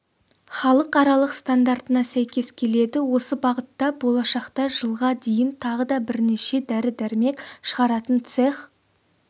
халықаралық стандартына сәйкес келеді осы бағытта болашақта жылға дейін тағы да бірнеше дәрі-дәрмек шығаратын цех